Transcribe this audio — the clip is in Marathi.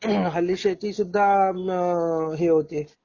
हल्ली शेती सुद्धा आह हे होते